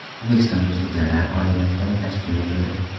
O‘zbekistonda sudyalar oliy maktabi tashkil etildi.